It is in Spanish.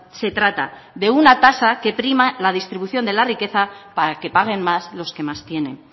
se trata de una tasa que prima la distribución de la riqueza para que paguen más los que más tienen